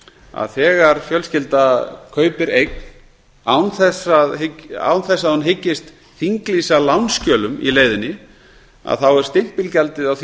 að þegar fjölskylda kaupir eign án þess að hún hyggist þinglýsa lánsskjölum í leiðinni er stimpilgjaldið á því